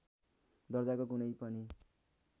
दर्जाको कुनै पनि